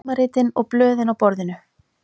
Tímaritin og blöðin á borðinu.